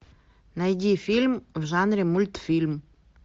найди фильм в жанре мультфильм